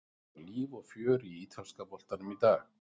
Það var líf og fjör í ítalska boltanum í dag.